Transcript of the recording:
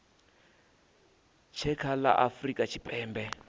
tshe kha la afurika tshipembe